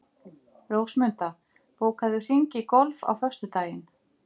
Rósmunda, bókaðu hring í golf á föstudaginn.